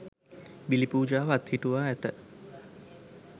බිලි පූජාව අත්හිටුවා ඇත.